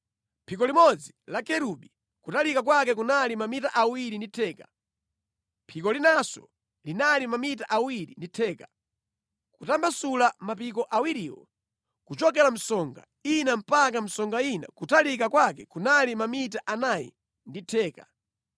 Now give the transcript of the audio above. Phiko limodzi la kerubi kutalika kwake kunali mamita awiri ndi theka, phiko linanso linali mamita awiri ndi theka, kutambasula mapiko awiriwo, kuchokera msonga ina mpaka msonga ina kutalika kwake kunali mamita anayi ndi theka.